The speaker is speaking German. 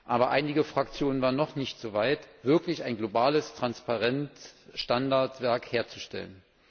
Aber einige Fraktionen waren noch nicht soweit, wirklich ein globales Transparenzstandardwerk herzustellen.